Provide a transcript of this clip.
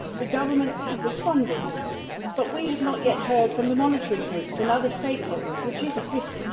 The governments have responded, but we have not yet heard from the monitoring groups and other stakeholders, which is a pity.